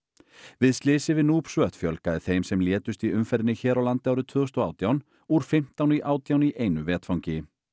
við slysið við fjölgaði þeim sem létust í umferðinni hér á landi árið tvö þúsund og átján úr fimmtán í átján í einu vetfangi